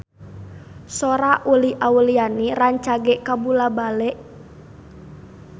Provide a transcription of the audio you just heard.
Sora Uli Auliani rancage kabula-bale